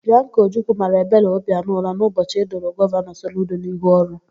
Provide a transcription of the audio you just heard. Bịanka Ojukwu mara Ebele Obianọ ụra n'ụbọchị edoro Gọvanọ Soludo n'ihu ọrụ.